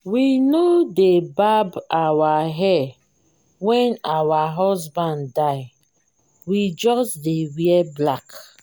we no dey barb our hair wen our husband die we just dey wear black